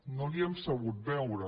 no l’hi hem sabut veure